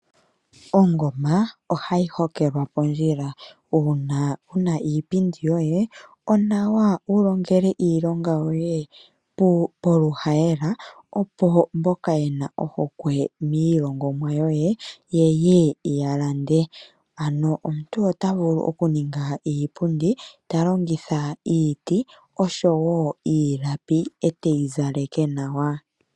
Ongoma ohayi holekwa pondjila uuna wuna iipindi yoye nawa wu longele iilonga yoye poluhayela, opo mboka yena ohokwe miilongomwa yoye ye ye ya lande. Ano omuntu ota vulu okuninga iipundi ta longitha iiti oshowo iilapi eteyi zaleke nawa.